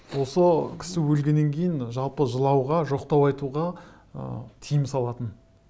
осы кісі өлгеннен кейін жалпы жылауға жоқтау айтуға ы тыйым салатын